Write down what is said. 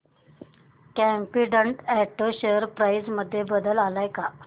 competent auto share price मध्ये बदल आलाय का